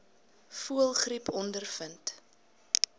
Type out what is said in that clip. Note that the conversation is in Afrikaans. voëlgriep ondervind